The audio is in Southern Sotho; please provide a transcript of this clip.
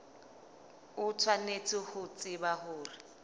o tshwanetse ho tseba hore